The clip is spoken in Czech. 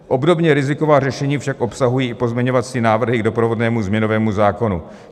Obdobně riziková řešení však obsahují i pozměňovací návrhy k doprovodnému změnovému zákonu.